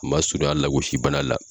U man surunya lagosi bana la.